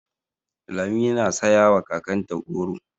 Lami na saya ma kakanta goro.